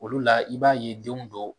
Olu la i b'a ye denw dɔw.